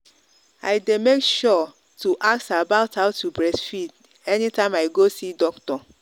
i day make sure to ask about how to breastfeed anytime i go see doctor.